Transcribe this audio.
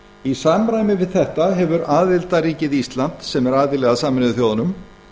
í samræmi við þetta hefur aðildarríkið ísland sem er aðili að sameinuðu þjóðunum